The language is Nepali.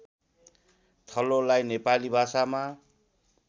थलोलाई नेपाली भाषामा